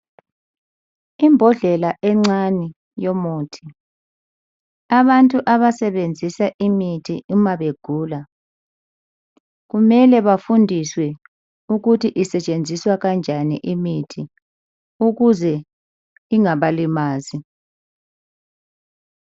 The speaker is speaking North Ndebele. Imbodlela encane yomuthi. Abantu abasebenzisa imithi uma begula kumele bafundiswe ukuthi isetshenziswa kanjani imithi ukuze ingabalimazi.